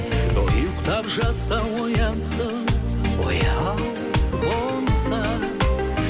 ұйықтап жатса оянсын ояу болса